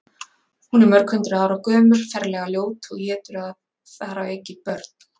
Hún er mörghundruð ára gömul, ferlega ljót og étur þar að auki börn.